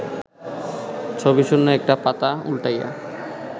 ছবিশূন্য একটা পাতা উল্টাইয়া